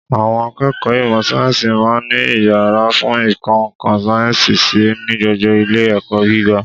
Àwọn akẹ́kọ̀ọ́ ìmọ̀ Sáyẹ́ǹsì máa ń ní iyàrá fún ìkọ́ ńkan sáyẹ́ǹsì sí ní gbogbo Ilé ẹ̀kọ́ gíga